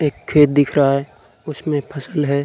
एक खेत दिख रहा है उसमें फसल है।